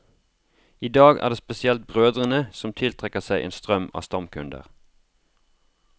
I dag er det spesielt brødene som tiltrekker seg en strøm av stamkunder.